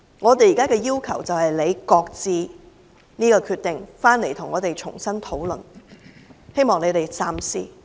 我們現在的要求，是政府擱置這個決定，回來跟我們重新討論，希望你們三思。